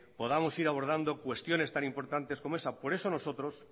podamos ir abordando cuestiones tan importantes como esa por eso nosotros